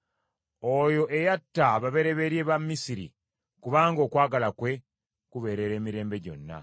Oyo eyatta ababereberye b’Abamisiri, kubanga okwagala kwe kubeerera emirembe gyonna.